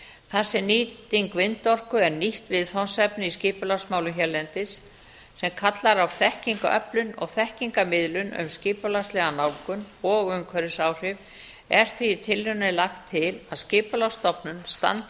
þar sem nýting vindorku er nýtt viðfangsefni í skipulagsmálum hérlendis sem kallar á þekkingþekkingaröflun og þekkingarmiðlun um skipulagslega nálgun og umhverfisáhrif er því í tillögunni lagt til að skipulagsstofnun standi